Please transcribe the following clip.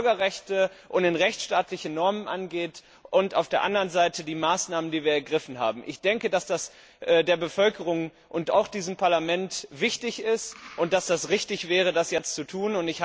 in Bürgerrechte und in rechtsstaatliche Normen angeht, und dass wir auf der anderen Seite die Maßnahmen evaluieren, die wir ergriffen haben. Ich denke, dass das der Bevölkerung und auch diesem Parlament wichtig ist, und dass es richtig wäre, das jetzt zu tun.